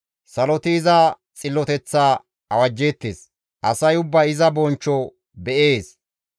Saloti iza xilloteththaa awajjeettes; asay ubbay iza bonchcho be7ees.